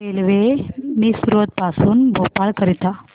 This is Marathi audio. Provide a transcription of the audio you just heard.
रेल्वे मिसरोद पासून भोपाळ करीता